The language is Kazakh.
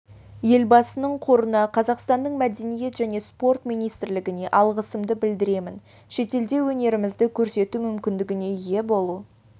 елбасының қорына қазақстанның мәдениет және спорт министрлігіне алғысымды білдіремін шетелде өнерімізді көрсету мүмкіндігіне ие болу